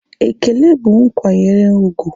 Ekele bụ nkwanyere úgwù